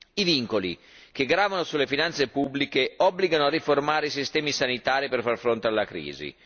I vincoli che gravano sulle finanze pubbliche obbligano a riformare i sistemi sanitari per far fronte alla crisi.